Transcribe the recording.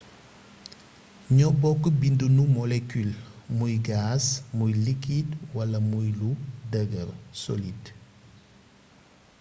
ñoo bokk binduni molecule muy gaz muy liquide wala muy lu dëgër solide